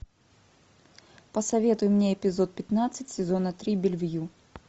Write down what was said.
посоветуй мне эпизод пятнадцать сезона три бельвю